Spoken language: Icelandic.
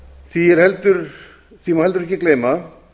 því má heldur ekki gleyma að